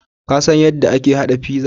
Ka san yadda ake haɗa pizza?